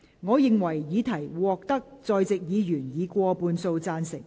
我認為議題獲得在席議員以過半數贊成。